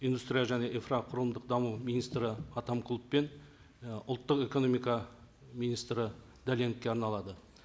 индустрия және инфрақұрылымдық даму министрі атамқұлов пен і ұлттық экономика министрі дәленовке арналады